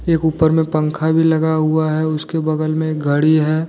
एक ऊपर में पंखा भी लगा हुआ है उसके बगल में एक गाड़ी है।